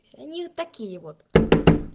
они такие вот